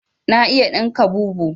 Na iya ɗinka bubu